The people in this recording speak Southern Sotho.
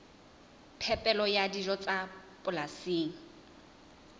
phepelo ya dijo tsa polasing